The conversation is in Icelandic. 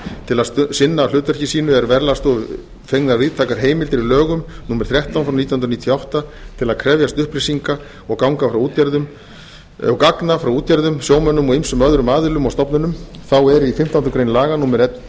til að sinna hlutverki sínu eru verðlagsstofu fengnar víðtækar heimildir í lögum númer þrettán nítján hundruð níutíu og átta til að krefjast upplýsinga og gagna frá útgerðum sjómönnum og ýmsum öðrum aðilum og stofnunum þá er í fimmtándu grein laga númer hundrað